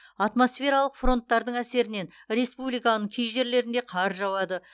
атмосфералық фронттардың әсерінен республиканың кей жерлерінде қар жауады